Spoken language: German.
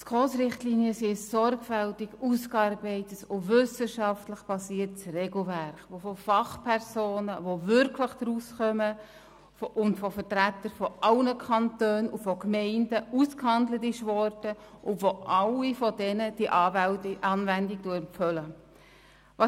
Es handelt sich hierbei um ein sorgfältig ausgearbeitetes und wissenschaftlich fundiertes Regelwerk, welches von Fachpersonen, die sich wirklich auskennen, und von Vertretern aller Kantone und Gemeinden ausgearbeitet wurde und von ihnen zur Anwendung empfohlen wird.